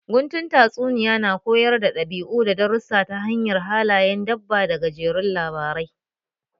Guntun tatsuniya su na koyar da ɗabi'u da darussa ta hanyar halayen dabba da gajerun labarai